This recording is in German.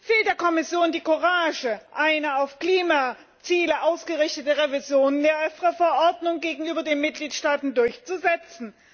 Fehlt der Kommission die Courage, eine auf Klimaziele ausgerichtete Revision der EFRE Verordnung gegenüber den Mitgliedstaaten durchzusetzen?